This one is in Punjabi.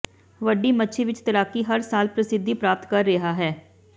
ਵੱਡੀ ਮੱਛੀ ਵਿਚ ਤੈਰਾਕੀ ਹਰ ਸਾਲ ਪ੍ਰਸਿੱਧੀ ਪ੍ਰਾਪਤ ਕਰ ਰਿਹਾ ਹੈ